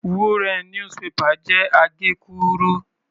Wúnrẹ̀n "newspaper" jẹ́ àgékúrú.